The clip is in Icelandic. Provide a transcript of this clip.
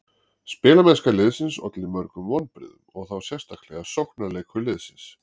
Spilamennska liðsins olli mörgum vonbrigðum og þá sérstaklega sóknarleikur liðsins.